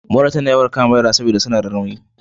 Mura tana yawan kama yara saboda ba suna da rauni.